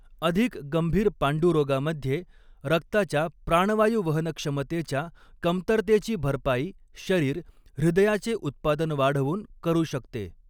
अधिक गंभीर पांडुरोगामध्ये, रक्ताच्या प्राणवायू वहनक्षमतेच्या कमतरतेची भरपाई शरीर, हृदयाचे उत्पादन वाढवून करू शकते.